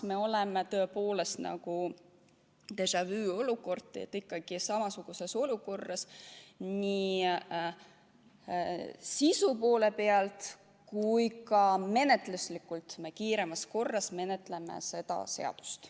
Meil on tõepoolest nagu déjà-vu-olukord, me oleme ikkagi samasuguses olukorras nii sisu poolest kui ka menetluslikult, kui me praegu kiiremas korras menetleme seda eelnõu.